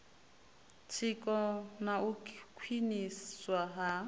tsiko na u khwiniswa ha